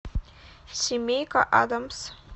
семейка адамс